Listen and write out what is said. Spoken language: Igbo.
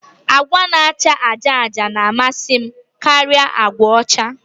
Agwa na-acha àjà àjà na-amasị m karịa agwa ọcha